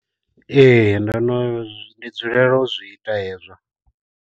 Ee ndo no ndi dzulela u zwi ita hezwo.